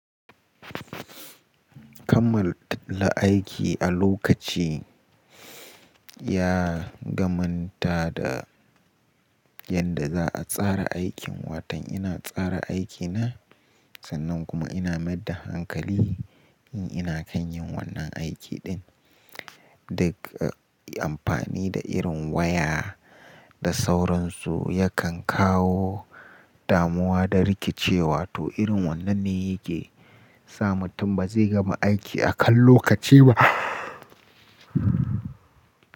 Kamal la aiki a lokaci ya gamanta da yadda za a tsara aikin, watan ina tsara aikina sannan kuma ina maida hankali in ina kan yin wannan aiki din. Duk amfani da irin waya da sauransu yakan kawo damuwa da rikicewa to irin wannan ne yake sa mutum ba zai gama aiki akan lokaci ba.